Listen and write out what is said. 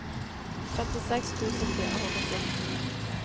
femtiseks tusen fire hundre og fjorten